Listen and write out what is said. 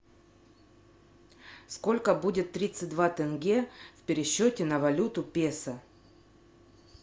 сколько будет тридцать два тенге в пересчете на валюту песо